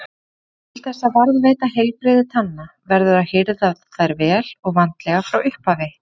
Til þess að varðveita heilbrigði tanna verður að hirða þær vel og vandlega frá upphafi.